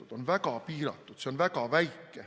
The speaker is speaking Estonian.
See on väga piiratud, see on väga väike.